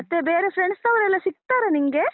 ಮತ್ತೆ ಬೇರೆ friends ನವರೆಲ್ಲಾ ಸಿಗ್ತಾರ ನಿನ್ಗೆ?